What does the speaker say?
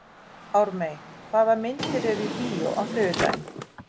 Ármey, hvaða myndir eru í bíó á þriðjudaginn?